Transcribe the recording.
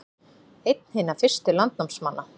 Einn hinna fyrstu landnámsmanna